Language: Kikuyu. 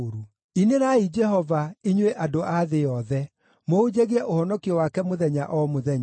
Inĩrai Jehova, inyuĩ andũ a thĩ yothe; mũhunjagie ũhonokio wake mũthenya o mũthenya.